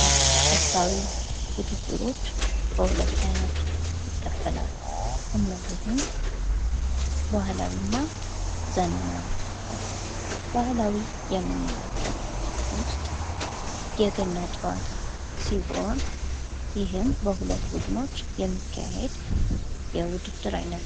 ስፖርታዊ ውድድሮች በሁለት አይነት ይከፈላሉ እነዚህም ባህላዊ እና ዘመናዊ ተብለው ባህላዊ የምንላቸው ውስጥ የገና ጨዋታ ሲሆን ይህም በሁለት ቡድኖች የሚካሄድ የውድድር ዓይነት ነው።